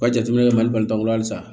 Ka jateminɛ mali bantanko la halisa